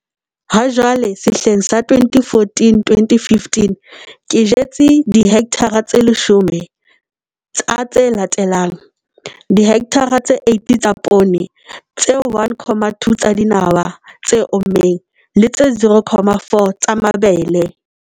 Hajwale, sehleng sa 2014 2015, ke jetse dihekthara tse 10 tsa tse latelang- dihekthara tse 8 tsa poone tse 1, 2 tsa dinawa tse ommeng, le tse 0, 4 tsa mabele.